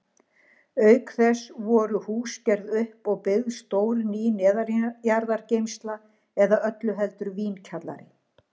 Auk þess voru hús gerð upp og byggð stór ný neðanjarðargeymsla, eða öllu heldur vínkjallari.